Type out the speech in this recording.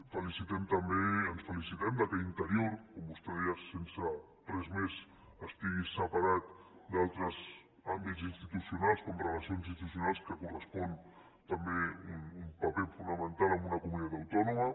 felicitem també i ens felicitem que interior com vostè deia sense res més estigui separat d’altres àmbits institucionals com relacions institucionals que li correspon també un paper fonamental en una comunitat autònoma